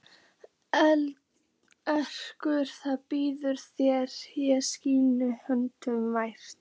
Endurtekur það blíðlega þegar ég sný höfðinu varfærin.